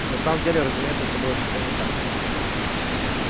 на самом деле разумеется всё было совсем не так